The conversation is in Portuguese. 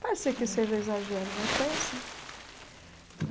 Pode ser que seja exagero, mas foi assim.